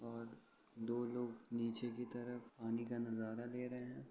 और दो लोग नीचे की तरफ पानी का नजारा ले रहे है।